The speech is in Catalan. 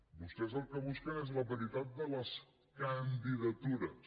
vostès el que busquen és la paritat de les candidatures